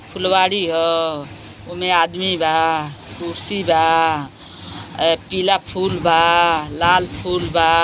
उमें आदमी बा कुर्सी बा ए पीला फूल बा लाल फूल बा।